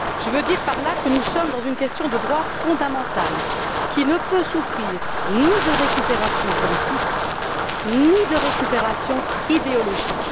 Je veux dire par là que nous nous trouvons face à une question de droit fondamentale qui ne peut souffrir ni d'une récupération politique, ni d'une récupération idéologique.